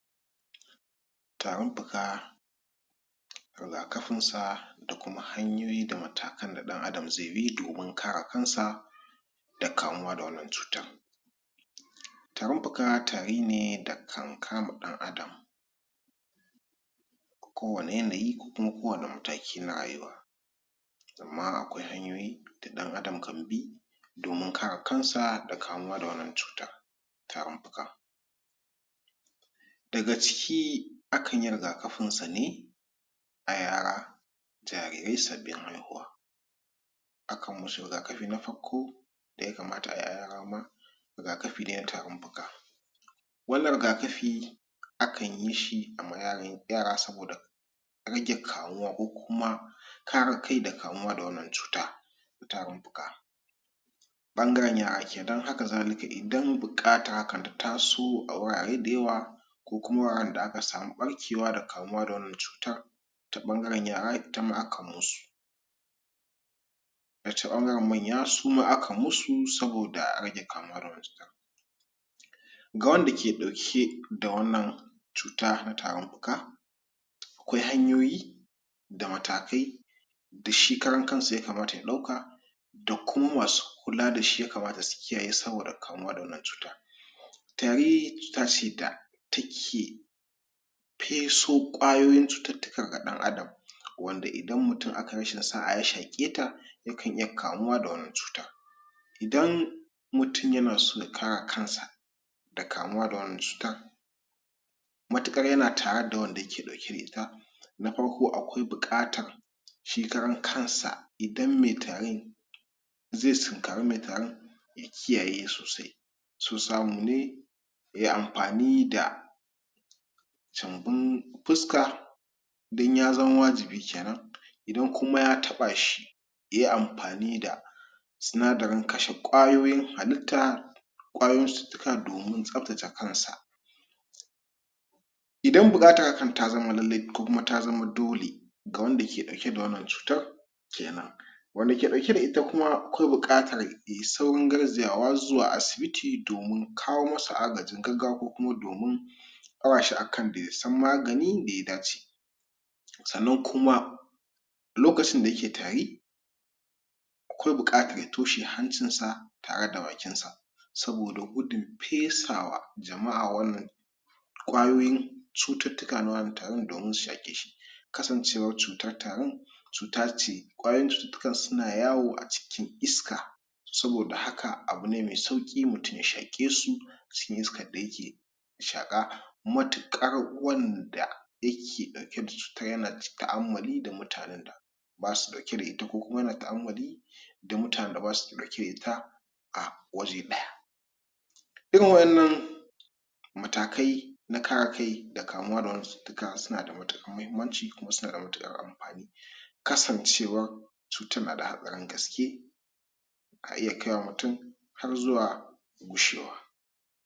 Tarin fuka rigakafinsa da Kuma hanyoyi da matakan da mutum zai bi domin kare kansa da kamuwa da wannan cutar. Tarin fuka tari ne da kan kama Ɗan adam kowani yanayi ko Kuma kowani mataki na rayuwa sannan akwai hanyoyi da ɗan adam kan bi domin kare kansa da kamuwa da wannan cutar Tarin fukan, daga ciki akanyi rigakafinsa ne a yara jarirai sabbin haihuwa akanmusu rigakafi na farko daya kamata Ayi a yara ma rigakafi ne na tarinfuka wannan rigakafi akan yishi ama yara saboda rage kamuwa ko kuma kare kai da kamuwa da wannan cuta na Tarin fuka ɓangaren yara kenan, hakazalika Idan buƙatar hakan ta taso a wurare dayawa kokuma wuraren da aka samu ɓarkewa da kamuwa da wannan cutar ta bangaren yara itama akan musu ta ɓangaren manya suma akan musu saboda a rage kamuwa da wannan cutar, ga wanda ke dauke da wannan cuta na Tarin fuka akwai hanyoyi da matakai da shi karan kansa yakamata ya dauka da Kuma masu kula dashi yakamata su kiyaye saboda kamuwa da wannan cuta, tari cuta ce da take feso kwayoyin cuturtuka ga ɗan adam wanda Idan mutum akayi rashin saʼa ya shaketa yakan iya kamuwa da wannan cuta Idan mutum yanaso ya kare kansa da kamuwa da wannan cutar matuƙar yana tareda wanda yake ɗauke da ita akwai na farko akwai bukatar shi karan kansa Idan mai Tarin zai tunkari mai Tarin ya kiyaye sosai in so samu ne yayi anfani da? fuska in ya zama wajibi kenan idan kuma ya tabashi yayi anfani da da sinadarin kashe ƙwayoyin halitta ƙwayoyin cutuka domin tsabtace kansa Idan bukatan hakan ya zama lallai ko Kuma ya zama dole ga wanda yake ɗauke da cutar kenan wanda ke dauke da ita Kuma akwa bukatar Yayi saurin garzayawa asibiti domin kawo masa agajin gaggawa ko Kuma domin daurashi akan??? magani wanda ya dace sannan kuma lokacin da yake tari akwai buƙatar ya toshe hancinsa tareda bakinsa saboda gudun fesawa jamaʼa wannan kwayoyin cututtuka na wannan Tarin domin su shaƙeshi kasancewar cutar kwayoyin cutukan suna yawo a cikin iska saboda haka abune mai sauki mutum ya shaƙesu cikin iskarda yake shaƙa matuƙar wanda yake dauke da cutar ko Kuma yana taʼammali da mutanen shaƙa matuƙar wanda yake daukeda cutar y basu dauke da cutar ko Kuma yana taʼammali da mutanen da mutanen da basu ɗauke da ita a waje daya irin wannan irin wayannan matakai na kare kai da kamuwa da wannan cututtuka sunada matuƙar mahimmanci Kuma sunada matuƙar anfani kasancewa cutar na da hatsarin gaske ka iya kai mutum har zuwa gushewa